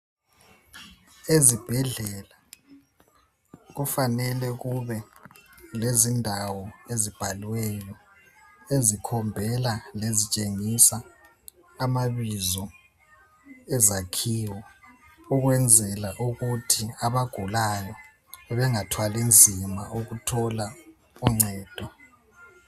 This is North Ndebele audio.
Ezibhedlela kufanele kube lezindawo ezibhaliwe ezikhombela lezitshengisa amabizo ezakhiwo ukwenzela ukuthi abagulayo bengathwali nzima ukuthola uncedo.